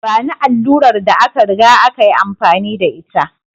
Bani allurar da aka riga aka yi amfani da ita!